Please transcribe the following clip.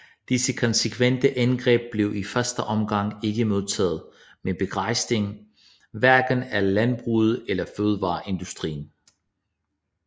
Disse konsekvente indgreb blev i første omgang ikke modtaget med begejstring hverken af landbruget eller fødevareindustrien